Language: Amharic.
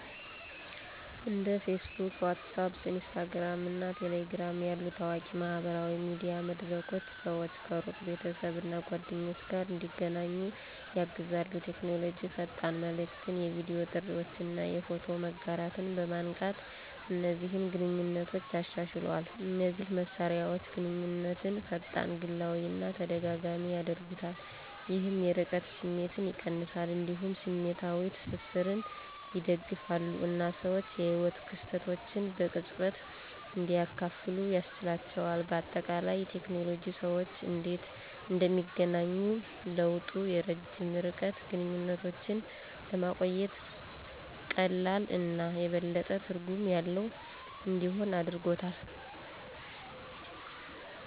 እንደ Facebook፣ WhatsApp፣ Instagram እና Telegram ያሉ ታዋቂ የማህበራዊ ሚዲያ መድረኮች ሰዎች ከሩቅ ቤተሰብ እና ጓደኞች ጋር እንዲገናኙ ያግዛሉ። ቴክኖሎጂ ፈጣን መልዕክትን፣ የቪዲዮ ጥሪዎችን እና የፎቶ መጋራትን በማንቃት እነዚህን ግንኙነቶች አሻሽሏል። እነዚህ መሳሪያዎች ግንኙነትን ፈጣን፣ ግላዊ እና ተደጋጋሚ ያደርጉታል፣ ይህም የርቀት ስሜትን ይቀንሳል። እንዲሁም ስሜታዊ ትስስርን ይደግፋሉ እና ሰዎች የህይወት ክስተቶችን በቅጽበት እንዲያካፍሉ ያስችላቸዋል። በአጠቃላይ፣ ቴክኖሎጂ ሰዎች እንዴት እንደሚገናኙ ለውጦ የረጅም ርቀት ግንኙነቶችን ለማቆየት ቀላል እና የበለጠ ትርጉም ያለው እንዲሆን አድርጎታል።